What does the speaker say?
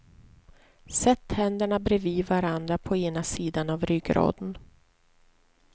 Sätt händerna bredvid varandra på ena sidan av ryggraden.